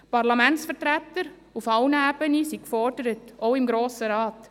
Die Parlamentsvertreter, auf allen Ebenen, sind gefordert – auch im Grossen Rat.